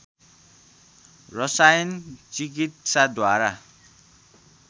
रसायन चिकित्साद्वारा